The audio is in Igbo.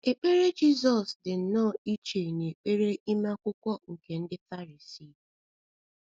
Ekpere Jizọs Ekpere Jizọs dị nnọọ iche n’ekpere ime Akwụkwọ Akwụkwọ nke um ndị Farisii